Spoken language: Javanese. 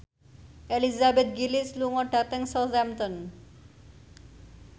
Elizabeth Gillies lunga dhateng Southampton